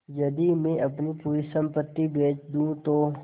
यदि मैं अपनी पूरी सम्पति बेच दूँ तो